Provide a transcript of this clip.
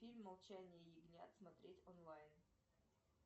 фильм молчание ягнят смотреть онлайн